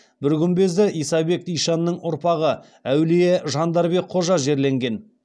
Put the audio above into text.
бір күмбезді исабек ишанның ұрпағы әулие жандарбек қожа жерленген